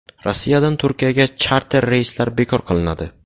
Rossiyadan Turkiyaga charter reyslari bekor qilinadi.